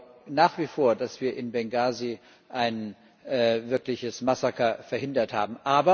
Ich glaube nach wie vor, dass wir in Bengasi ein wirkliches Massaker verhindert haben.